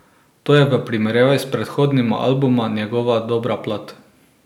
To je v primerjavi s predhodnima albumoma njegova dobra plat.